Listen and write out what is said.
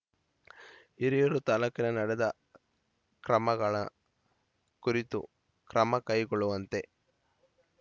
ಹಿರಿಯೂರು ತಾಲೂಕಿನ ನಡೆದ ಕ್ರಮಗಳ ಕುರಿತು ಕ್ರಮಕೈಗೊಳ್ಳುವಂತೆ